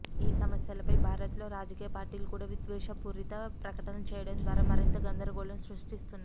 ఈ సమస్యపై భారత్లో రాజకీయ పార్టీలు కూడా విద్వేషపూర్తి ప్రకటనలు చేయడం ద్వారా మరింత గందర గోళం సృష్టిస్తున్నాయి